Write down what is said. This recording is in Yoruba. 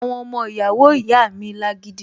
Àwọn ọmọ ìyàwó ìyá mi lágídí